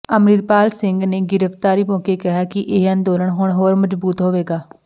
ਅੰਮ੍ਰਿਤਪਾਲ ਸਿੰਘ ਨੇ ਗ੍ਰਿਫਤਾਰੀ ਮੌਕੇ ਕਿਹਾ ਕਿ ਇਹ ਅੰਦੋਲਨ ਹੁਣ ਹੋਰ ਮਜ਼ਬੂਤ ਹੋਵੇਗਾ